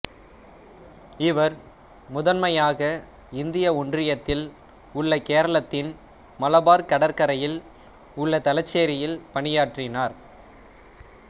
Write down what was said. இவர் முதன்மையாக இந்திய ஒன்றியத்தில் உள்ள கேரளாத்தின் மலபார் கடற்கரையில் உள்ள தலச்சேரியில் பணியாற்றினார்